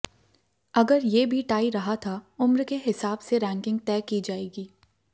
अगर ये भी टाई रहा था उम्र के हिसाब से रैंकिंग तय की जाएगी